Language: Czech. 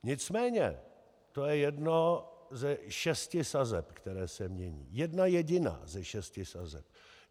Nicméně to je jedna ze šesti sazeb, která se mění, jedna jediná ze šesti sazeb.